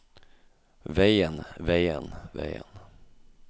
veien veien veien